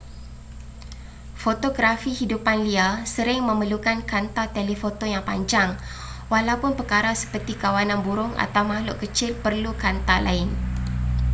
fotografi hidupan liar sering memerlukan kanta telefoto yang panjang walaupun perkara seperti kawanan burung atau makhluk kecil perlu kanta lain